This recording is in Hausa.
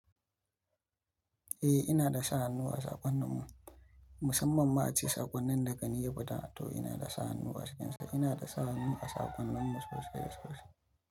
Eh ina da sa hannu a saƙonnin mu, musamman ma a ce saƙonnin da gani ya fita to ina da sa hannu a cikin sa. Ina da sa hannu a saƙonnin mu sosai sosai sosai.